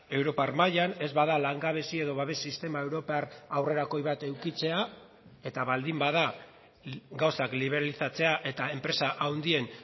europar mailan ez bada langabezi edo babes sistema europar aurrerakoi bat edukitzea eta baldin bada gauzak liberalizatzea eta enpresa handien